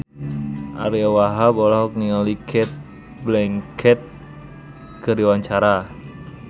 Ariyo Wahab olohok ningali Cate Blanchett keur diwawancara